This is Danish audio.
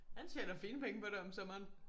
Han tjener fine penge på det om sommeren